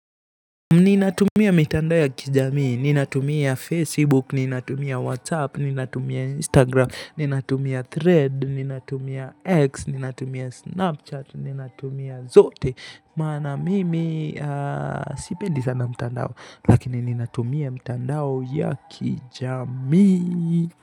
Ninatumia mitandao ya kijamii, ninatumia facebook, ninatumia whatsapp, ninatumia instagram, ninatumia thread, ninatumia x, ninatumia snapchat, ninatumia zote maana mimi, sipendi sana mtandao, lakini ninatumia mitandao ya kijamii.